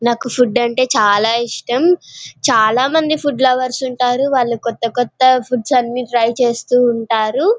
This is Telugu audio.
నాకు ఫుడ్ అంటే చాల ఇష్టం చాలా మంది ఫుడ్ లవర్స్ ఉంటారు వాళ్ళు కొత్త కొత్త ఫుడ్స్ అన్ని ట్రై చేస్తూ ఉంటారు.